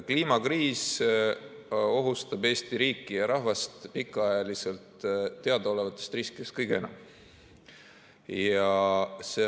Kliimakriis ohustab Eesti riiki ja rahvast pikaajaliselt teadaolevatest riskidest kõige enam.